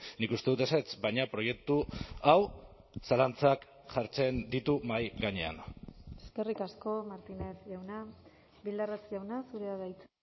nik uste dut ezetz baina proiektu hau zalantzak jartzen ditu mahai gainean eskerrik asko martínez jauna bildarratz jauna zurea da hitza